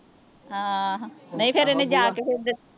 ਹਾਂ ਨਹੀਂ ਫਿਰ ਇਹਨੇ ਜਾ ਕੇ ਐਧਰ